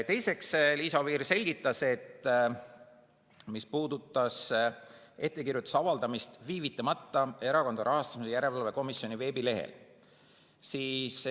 Teiseks, Liisa Oviir selgitas seda, mis puudutas ettekirjutuse viivitamata avaldamist Erakondade Rahastamise Järelevalve Komisjoni veebilehel.